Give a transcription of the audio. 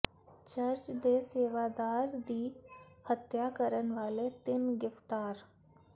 church ਦੇ ਸੇਵਾਦਾਰ ਦੀ ਹੱਤਿਆ ਕਰਨ ਵਾਲੇ ਤਿੰਨ ਗਿ੍ਫ਼ਤਾਰ